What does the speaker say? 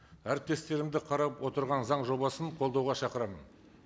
әріптестерімді қарап отырған заң жобасын қолдауға шақырамын